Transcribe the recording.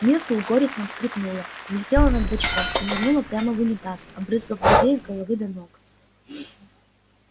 миртл горестно всхлипнула взлетела над бачком и нырнула прямо в унитаз обрызгав друзей с головы до ног